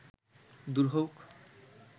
দূর হউক